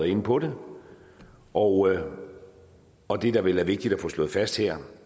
inde på det og og det der vel er vigtigt at få slået fast her